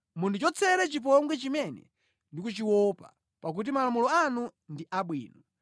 Mundichotsere chipongwe chimene ndikuchiopa, pakuti malamulo anu ndi abwino.